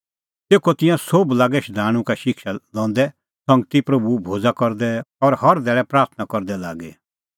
तेखअ तिंयां सोभ लागै शधाणूं का शिक्षा लंदै संगती प्रभू भोज़ा करदै और हर धैल़ै प्राथणां करदै लागी